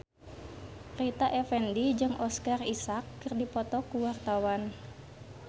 Rita Effendy jeung Oscar Isaac keur dipoto ku wartawan